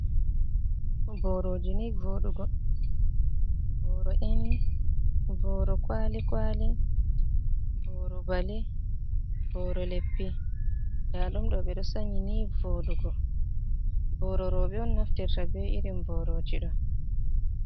Boroji ni voɗugo, boro e ni, boro kwali kwali, boro bali, boro leppi nda ɗum ɗo ɓeɗo sanyi ni voɗugo, boro roɓe on naftirta be irin boroji ɗo.